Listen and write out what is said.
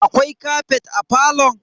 Akwai kafet a falon?